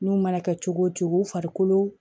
N'u mana kɛ cogo o cogo u farikolo